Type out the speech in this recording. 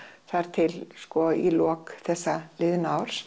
þar til í lok þessa liðna árs